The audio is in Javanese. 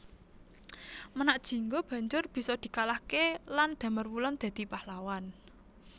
Menak Jinggo banjur bisa dikalahké lan Damarwulan dadi Pahlawan